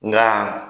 Nka